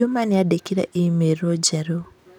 Juma nĩandĩkĩire e-mail njerũ